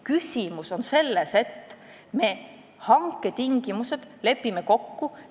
Küsimus on selles, et me lepime hanke tingimused kokku.